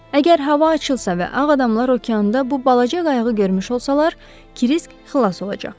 Əgər hava açılsa və ağ adamlar okeanda bu balaca qayığı görmüş olsalar, Krisk xilas olacaq.